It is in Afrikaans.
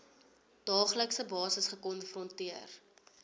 daaglikse basis gekonfronteer